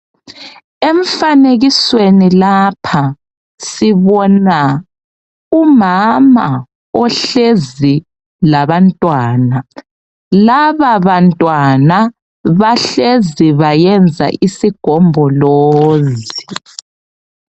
Emfanekisweni lapha sibona umama ohlezi labantwana. Lababantwana bahlezi bayenza isigombolozi.